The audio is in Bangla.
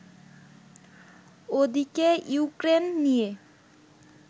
ওদিকে ইউক্রেন নিয়ে